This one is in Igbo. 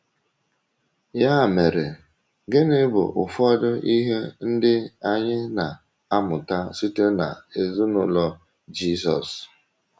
Ya mere, gịnị bụ ụfọdụ ihe ndị anyị na - amụta site n’ezinụlọ Jizọs?